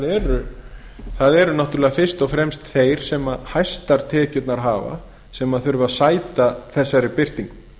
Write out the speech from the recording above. að það eru náttúrlega fyrst og fremst þeir sem hæstar tekjurnar hafa sem þurfa að sæta þessari birtingu